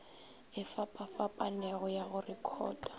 e fapafapanego ya go rekhota